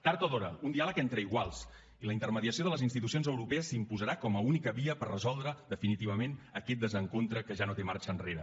tard o d’hora un diàleg entre iguals i la intermediació de les institucions europees s’imposarà com a única via per resoldre definitivament aquest desencontre que ja no té marxa enrere